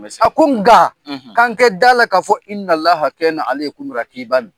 a ko nka, k'an kɛ d'a la ka fɔ .